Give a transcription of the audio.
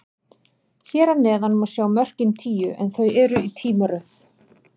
Hér að neðan má sjá mörkin tíu, en þau eru í tímaröð.